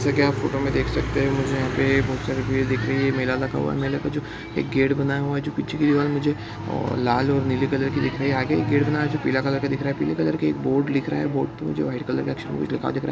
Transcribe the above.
जैसा की आप फोटो में देख सकते हैं मुझे यहाँ पर बहुत सारी भीड़ दिख रही हैं मेला लगा हुआ है| मेला का जो गेट बना हुआ है जो पीछे की दीवार मुझे लाल और नीले कलर की दिख रही हैं आगे एक गेट बना हैं जो पीला कलर का दिख रहा है| पीला कलर का एक बोर्ड दिख रहा है बोर्ड पर जो वाइट कलर के अक्षर--